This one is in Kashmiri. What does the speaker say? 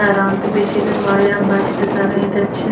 .تران تہٕ بیٚیہِ چھ ییٚتٮ۪تھ واریاہ بچہِ تہِ تران ییٚتٮ۪تھ چھ